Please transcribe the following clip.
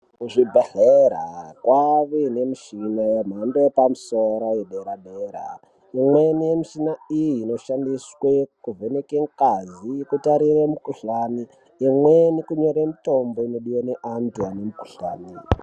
Kuzvibhedhlera kwaane nemishina yemhando yepamusoro, yedera-dera. Imweni yemishina iyi inoshandiswe kuvheneke ngazi nekutarire mukhuhlane. Imweni kunyore mitombo inodiwa ngevantu vane mikuhlane.